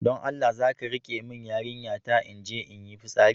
Don Allah zaka riƙe min yarinya ta na inje inyi fitsari?